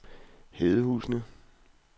Hedehusene